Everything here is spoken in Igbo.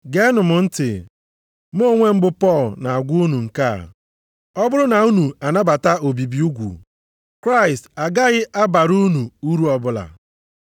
Geenụ m ntị, mụ onwe m bụ Pọl na-agwa unu nke a. Ọ bụrụ na unu anabata obibi ugwu, Kraịst agaghị abara unu uru ọbụla.